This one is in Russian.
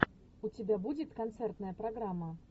у тебя будет концертная программа